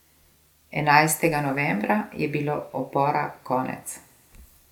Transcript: Enajstega novembra je bilo upora konec.